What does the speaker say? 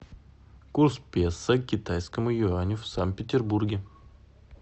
курс песо к китайскому юаню в санкт петербурге